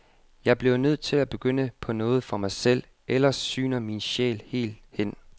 Jeg bliver nødt til at begynde på noget for mig selv, ellers sygner min sjæl helt hen.